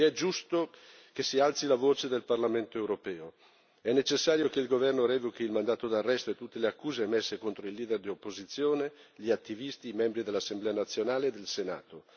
Quindi è giusto che si alzi la voce del Parlamento europeo è necessario che il governo revochi il mandato d'arresto e tutte le accuse emerse contro il leader di opposizione, gli attivisti, i membri dell'Assemblea nazionale e del Senato.